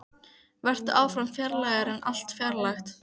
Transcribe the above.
Vertu áfram fjarlægari en allt fjarlægt.